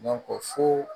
fo